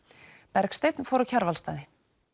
Bergsteinn fór á Kjarvalsstaði